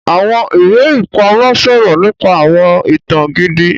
Awọn iwe-ipamọ sọrọ nípa awọn ìtàn gidi